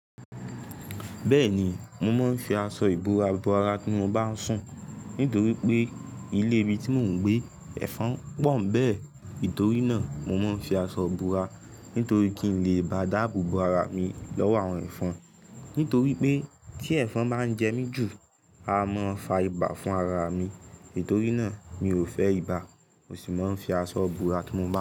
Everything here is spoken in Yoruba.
Bẹ́ẹ̀ni, mo máa ń fi aṣọ ìbúra bo ara tí mo bá ń sùn nítorí pé ilé ibi tí mò ń gbé ẹ̀fọn pọ̀ń bẹ́ẹ̀. Nítorí náà, mo máa ń fi aṣọ ìbúra nítorí kí n lè bá dáàbò bo ara mi lọ́wọ́ àwọn ẹ̀fọn. Nítorí pé tí ẹ̀fọn bá ń jẹ mí jù, a máa fa ibà fún ara mi. Nítorí náà, mi ò fẹ́ ibà, mo sì máa ń fi aṣọ bora tí mo bá ń sùn.